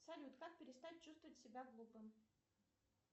салют как перестать чувствовать себя глупым